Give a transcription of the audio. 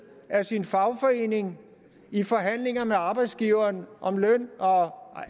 af sin fagforening i forhandlinger med arbejdsgiveren om løn og